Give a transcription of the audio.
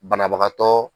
Banabagatɔ